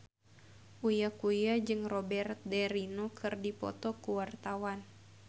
Uya Kuya jeung Robert de Niro keur dipoto ku wartawan